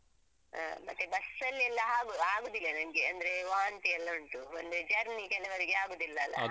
ಹಾ ಮತ್ತೆ bus ಅಲ್ಲೆಲ್ಲ ಹಾಗು ಆಗುದಿಲ್ಲ ನಂಗೆ ಅಂದ್ರೆ ವಾಂತಿಯೆಲ್ಲ ಉಂಟು ಒಂದೇ journey ಕೆಲವರಿಗೆ ಆಗುದಿಲ್ಲಲ್ಲ?